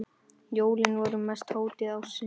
Jólin voru mesta hátíð ársins.